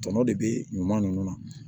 Tɔnɔ de bɛ ɲuman ninnu na